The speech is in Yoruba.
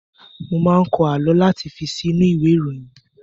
Mo máa n kọ àlọ́ láti fi si inú ìwé ìròyìn.